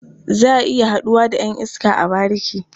Za a iya haɗuwa da ƴan iska a bariki.